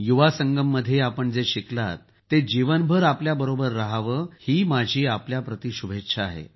युवा संगममध्ये आपण जे शिकलात ते जीवनभर आपल्याबरोबर रहावं ही माझी आपल्याप्रति शुभेच्छा आहे